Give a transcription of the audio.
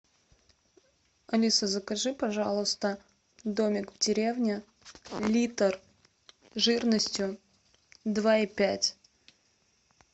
алиса закажи пожалуйста домик в деревне литр жирностью два и пять